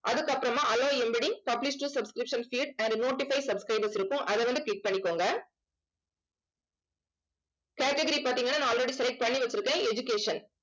அதுக்கப்புறமா publish to subscription state and notify subscribers இருக்கும். அதை வந்து click பண்ணிக்கோங்க category பார்த்தீங்கன்னா நான் already select பண்ணி வச்சிருக்கேன் education